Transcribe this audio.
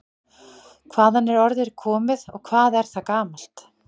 Hvaðan er orðið komið og hvað er það gamalt?